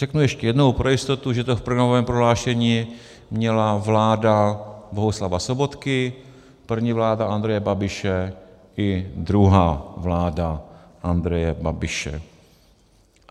Řeknu ještě jednou pro jistotu, že to v programovém prohlášení měla vláda Bohuslava Sobotky, první vláda Andreje Babiše i druhá vláda Andreje Babiše.